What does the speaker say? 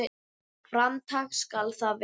Fram tak skal það vera.